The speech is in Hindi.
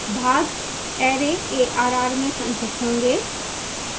भाग array arr में संचित होंगे